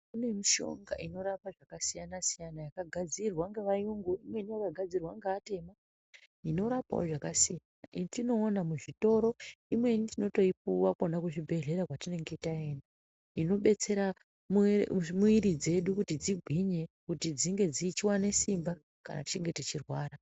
Kune mishonga inorapa zvakasiyana -siyana yakagadzirwa ngevayungu imweni yakagadzirwa ngeatema inorapawo zvakasiyana yetinoona muzvitoro, imweni tinotoipuwa kwona kuzvibhehlera kwatinenge taenda inobetsera mwiri dzedu kuti dzigwinye dzinge dzichiwane simba kana tichinge tichirwara.